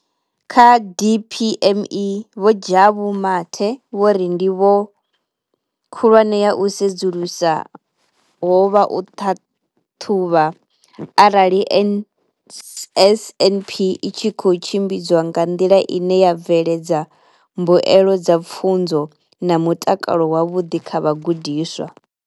Kha DPME, Vho Jabu Mathe, vho ri ndivho khulwane ya u sedzulusa ho vha u ṱhaṱhuvha arali NSNP i tshi khou tshimbidzwa nga nḓila ine ya bveledza mbuelo dza pfunzo na mutakalo wavhuḓi kha vhagudiswa.